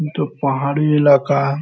इ तो पहाड़ी इलाका है।